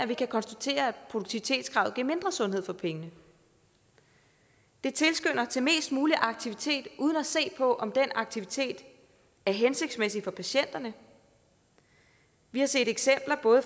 vi kan konstatere at produktivitetskravet giver mindre sundhed for pengene det tilskynder til mest mulig aktivitet uden at der ses på om den aktivitet er hensigtsmæssig for patienterne vi har set eksempler